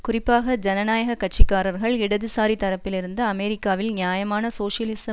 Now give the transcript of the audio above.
குறிப்பாக ஜனநாயக கட்சி காரர்கள் இடதுசாரி தரப்பிலிருந்து அமெரிக்காவில் நியாயமான சோசியலிச